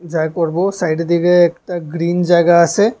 যা করব সাইডের দিকে একটা গ্রিন জায়গা আছে।